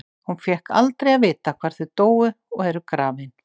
Hún fékk aldrei að vita hvar þau dóu og eru grafin.